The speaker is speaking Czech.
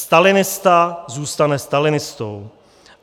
Stalinista zůstane stalinistou.